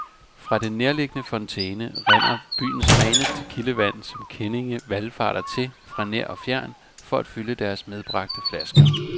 Fra den nærliggende fontæne rinder byens reneste kildevand, som kendinge valfarter til fra nær og fjern for at fylde deres medbragte flasker.